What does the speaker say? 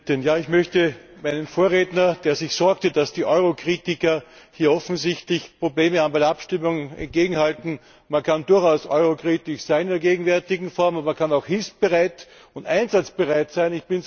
Frau Präsidentin! Ich möchte meinem Vorredner, der sich sorgte, dass die Eurokritiker hier offensichtlich Probleme bei der Abstimmung haben, entgegenhalten Man kann durchaus eurokritisch sein in der gegenwärtigen Form, aber man kann auch hilfsbereit und einsatzbereit sein.